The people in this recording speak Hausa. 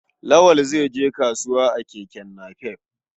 Lawal zai je kasuwa a keke napep.